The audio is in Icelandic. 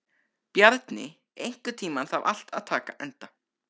Bjarni, einhvern tímann þarf allt að taka enda.